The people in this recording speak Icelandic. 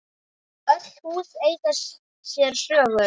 Öll hús eiga sér sögu.